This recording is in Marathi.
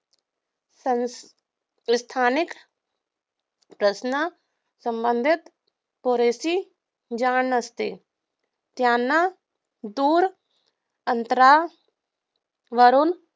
संस्थानिक प्रश्नांसंबंधित पुरेशी जाण नसते. त्यांना दूर अंतरा वरून